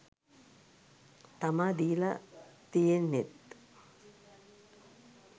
තමා දීල තියෙන්නෙත්.